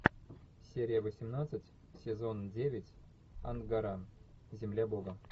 серия восемнадцать сезон девять ангара земля бога